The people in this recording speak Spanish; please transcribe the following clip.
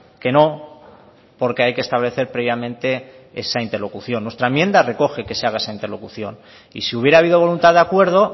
que no porque hay que establecer previamente esa interlocución nuestra enmienda recoge que se haga esa interlocución y si hubiera habido voluntad de acuerdo